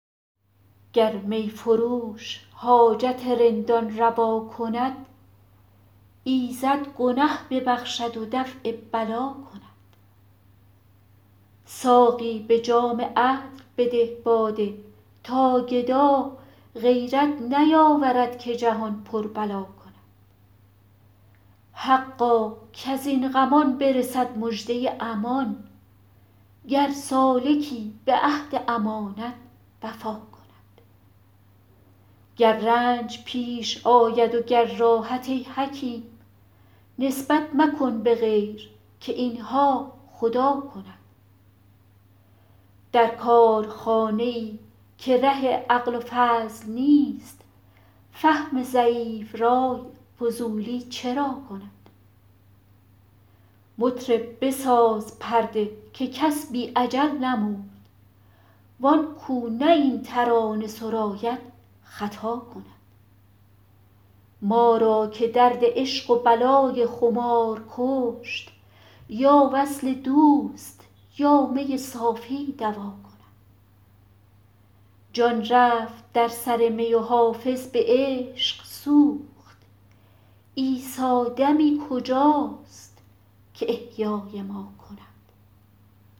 گر می فروش حاجت رندان روا کند ایزد گنه ببخشد و دفع بلا کند ساقی به جام عدل بده باده تا گدا غیرت نیاورد که جهان پر بلا کند حقا کز این غمان برسد مژده امان گر سالکی به عهد امانت وفا کند گر رنج پیش آید و گر راحت ای حکیم نسبت مکن به غیر که این ها خدا کند در کارخانه ای که ره عقل و فضل نیست فهم ضعیف رای فضولی چرا کند مطرب بساز پرده که کس بی اجل نمرد وان کو نه این ترانه سراید خطا کند ما را که درد عشق و بلای خمار کشت یا وصل دوست یا می صافی دوا کند جان رفت در سر می و حافظ به عشق سوخت عیسی دمی کجاست که احیای ما کند